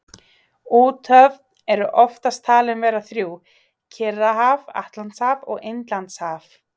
Úthöfin eru oftast talin vera þrjú, Kyrrahaf, Atlantshaf og Indlandshaf.